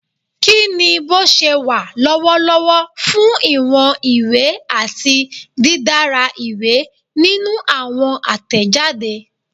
Kini boṣewa lọwọlọwọ fun iwọn iwe ati didara iwe ninu awọn atẹjade?